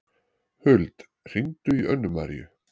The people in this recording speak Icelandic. Huld, hringdu í Önnumaríu.